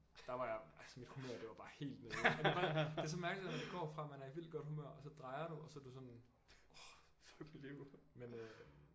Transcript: Der var jeg altså mit humør det var bare helt nede det er så mærkeligt at man går fra man er i vildt godt humør og så drejer du og så er du sådan orh fuck mit liv men øh